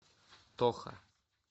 тоха